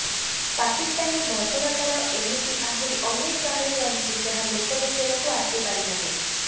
ପାକିସ୍ତାନୀ ବର୍ବରତାର ଏମିତି ଆହୁରି ଅନେକ କାହାଣୀ ରହିଛି ଯାହା ଲୋକଲୋଚନକୁ ଆସିପାରି ନାହିଁ